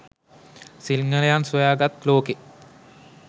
සිංහලයන් සොයා ගත් ලෝකෙ